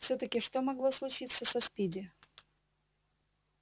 всё-таки что могло случиться со спиди